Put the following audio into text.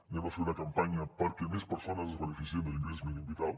farem una campanya perquè més persones es beneficiïn de l’ingrés mínim vital